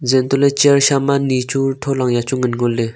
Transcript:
zeh an toh ley chair sha ma ni chu thola ya chu ngan ngo ley.